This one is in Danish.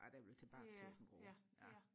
at jeg vil tilbage til Aabenraa ja